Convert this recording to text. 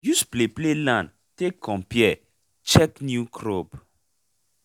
use play play land take compare check new crop